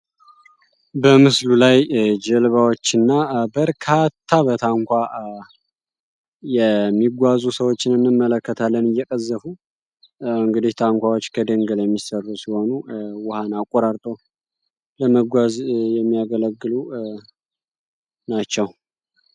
በምስሉ ላይ ጀልባዎች እና በርካታ በታንኳ የሚጓዙ ሰዎችን እንመለከታለን እየቀዘፉ እንግዲህ ታንኳዎች ከደንገል የሚሰሩ ሲሆኑ ውሃን አቆራርጦ ለመጓዝ የሚያገለግሉ ናቸው።